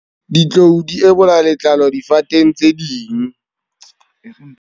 Ditlou di ebola letlalo difateng tse ding.